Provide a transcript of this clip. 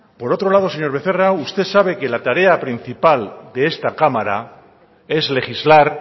por otro lado señor becerra usted sabe que la tarea principal de esta cámara es legislar